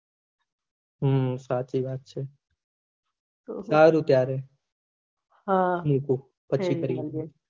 હમ સાચી વાત છે હારું ત્યારે મુકીએ પછી કરીએ